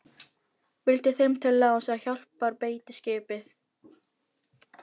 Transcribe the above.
Vildi þeim til láns, að hjálparbeitiskipið